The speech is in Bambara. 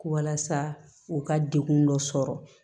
Walasa u ka dekun dɔ sɔrɔ